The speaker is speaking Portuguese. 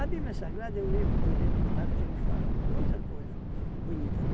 Bíblia Sagrada é um livro um livro claro que ele fala muita coisa bonita, né?